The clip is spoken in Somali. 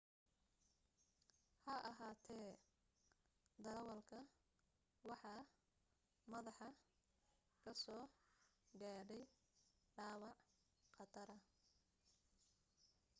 has ahaatee darawalka waxa madaxa ka soo gaadhay dhaawac khatara